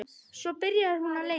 Svo byrjaði hún að leita.